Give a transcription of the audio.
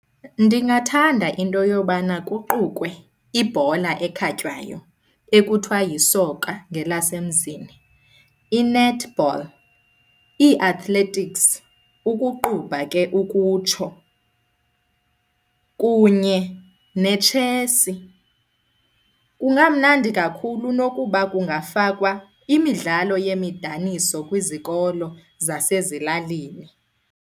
Ndingathanda into yobana kuqukwe ibhola ekhatywayo ekuthiwa yisoka ngelasemzini, i-netball, ii-athletics, ukuqubha ke ukutsho kunye netshesi. Kungamnandi kakhulu nokuba kungafakwa imidlalo yemidaniso kwizikolo zasezilalini.